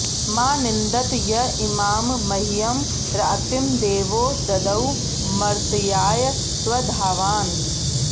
मा नि॑न्दत॒ य इ॒मां मह्यं॑ रा॒तिं दे॒वो द॒दौ मर्त्या॑य स्व॒धावा॑न्